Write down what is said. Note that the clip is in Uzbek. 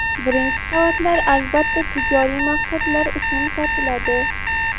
Birinchi qavatlar albatta tijoriy maqsadlar uchun sotiladi.